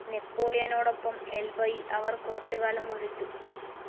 നെപോളിയനോടൊപ്പം എൽബയിൽ അവർ കുറച്ചു കാലം വസിച്ചു.